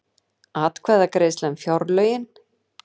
Atkvæðagreiðsla um fjárlögin